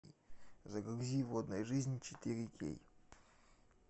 загрузи водная жизнь четыре кей